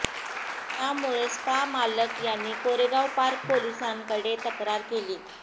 त्यामुळे स्पा मालक यांनी कोरेगाव पार्क पोलिसांकडे तक्रार केली